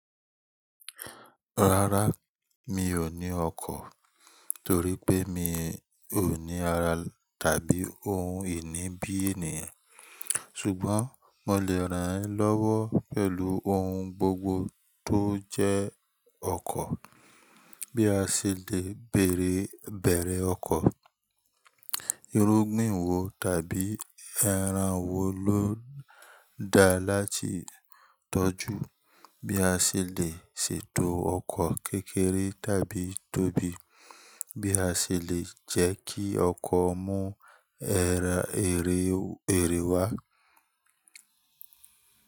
Rárá, mi ò ní ọkọ̀ torí pé mi ò ní ara tàbí ohun ìní bí ènìyàn. Ṣùgbọ́n mo lè rán ẹ lọ́wọ́ pẹ̀lú ohun gbogbo tó jẹ́ ọkọ̀. Bí a ṣe lè bèèrè ọkọ̀, irúgbìn wo tàbí ẹran wo ló da láti tọ́jú, bí a ṣe lè ṣètò ọkọ̀ kékeré tàbí tóbi, bí a ṣe lè jẹ́ kí ọkọ̀ mú èrè wá.